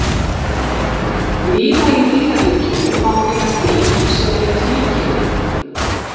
víða í dýraríkinu má finna dýr sem eru tvíkynja